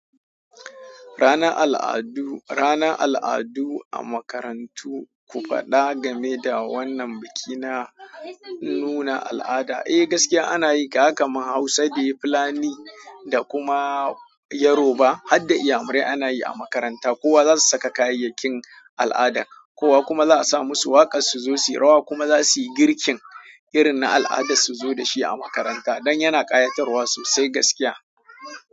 Ranar al'adu, ranar al'adu a makarantu, ku faɗa game da wannan biki na nuna al'ada. Eh gaskiya ana yi ga haka ma Hausa/Fulani da kuma Yoruba har da iyamure ana yi a makaranta. Kowa za su saka kayayyakin al'ada, kowa kuma za a sa musu waƙar su zo suyi rawa kuma za su yi girkin irin na al'adar su zo dashi a makaranta don yana ƙayatarwa sosai gaskiya.